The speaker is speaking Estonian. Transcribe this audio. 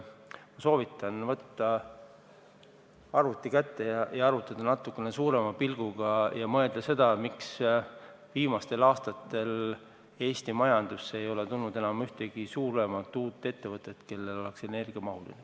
Ma soovitan arvuti kätte võtta ja arvutada asjale natuke laiema pilguga vaadates ja mõelda selle üle, miks viimastel aastatel Eesti majandusse ei ole tulnud ühtegi suuremat uut ettevõtet, kellel oleks energiamahukas tootmine.